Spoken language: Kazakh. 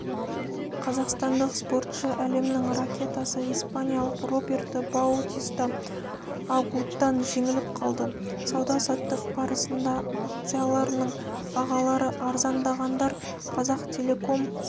қазақстандық спортшы әлемнің ракеткасы испаниялық роберто баутиста агутдан жеңіліп қалды сауда-саттық барысында акцияларының бағалары арзандағандар казахтелеком